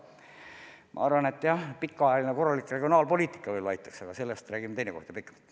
Ma arvan, et pikaajaline korralik regionaalpoliitika võib-olla aitaks, aga sellest räägime teinekord pikemalt.